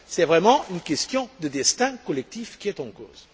C'est vraiment une question de destin collectif qui est en cause.